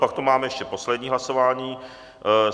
Pak tu máme ještě poslední hlasování.